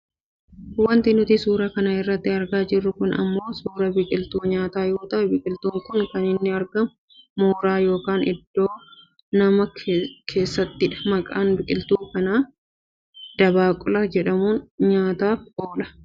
Wanti nuti suuraa kana irratti argaa jirru kun ammoo suuraa biqiltuu nyaataa yoo ta'u biqiltuun kun kan inni argamu mooraa yookaan oddoo namaa keessattidha. Maqaan biqiltuu kanaa dabaaqula jedhama. Nyaataaf oola.